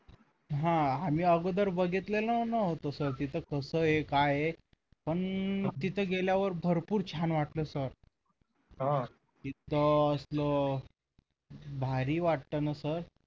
हा मी अगोदर बघितलेला नव्हता sir तिथे कसं काय आहे पण तिथे गेल्यावर भरपूर छान वाटलं sir हो तिथे असं भारी वाटतं ना सर अं